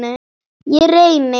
Ég reyni.